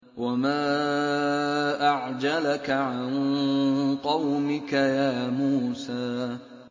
۞ وَمَا أَعْجَلَكَ عَن قَوْمِكَ يَا مُوسَىٰ